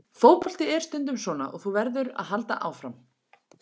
Fótbolti er stundum svona og þú verður að halda áfram.